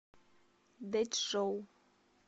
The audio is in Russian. дэчжоу